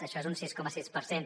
això és un sis coma sis per cent